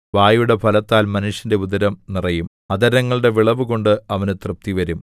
വായുടെ ഫലത്താൽ മനുഷ്യന്റെ ഉദരം നിറയും അധരങ്ങളുടെ വിളവുകൊണ്ട് അവന് തൃപ്തിവരും